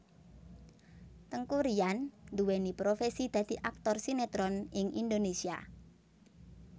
Teuku Ryan nduwéni profesi dadi aktor sinetron ing Indonésia